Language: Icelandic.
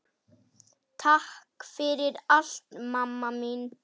Takk fyrir allt, mamma mín.